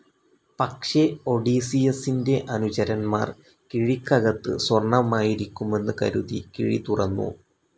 പക്ഷെ ഒഡീസിയസ്സിന്റെ അനുചരന്മാർ കിഴിക്കകത്ത് സ്വർണ്ണമായിരിക്കുമെന്ന് കരുതി, കിഴി തുറന്നു.